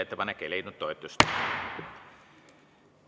Ettepanek ei leidnud toetust.